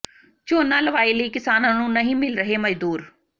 ਝੋਨਾ ਲਵਾਈ ਲਈ ਕਿਸਾਨਾਂ ਨੂੰ ਨਹੀਂ ਮਿਲ ਰਹੇ ਮਜ਼ਦੂਰ